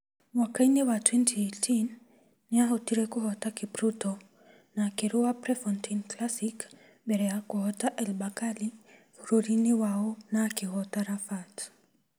Mwaka-inĩ wa 2018, nĩ aahotire kũhoota Kipruto na akĩrũa Prefontaine Classic mbere ya kũhoota El Bakkali bũrũri-inĩ wao na akĩhoota Rabat.